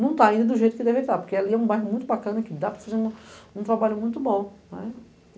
Não tá ainda do jeito que deveria estar, porque ali é um bairro muito bacana, que dá para fazer um trabalho muito bom.